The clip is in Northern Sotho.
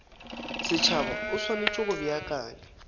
setšhaba o swanetše go beakanya